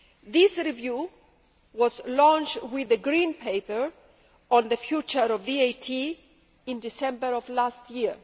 This review was launched with the Green Paper on the future of VAT in December last year.